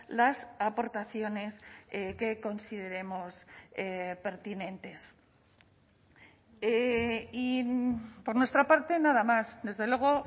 las aportaciones que consideremos pertinentes y por nuestra parte nada más desde luego